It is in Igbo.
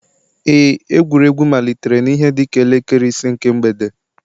Ee, egwuregwu malitere n'ihe dịka elekere ise nke mgbede